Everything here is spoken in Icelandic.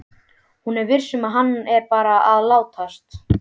Hún er viss um að hann er bara að látast.